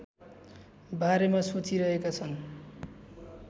बारेमा सोचिरहेका छन्